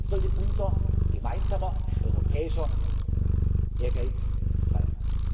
Das sollte unser gemeinsamer europäischer Ehrgeiz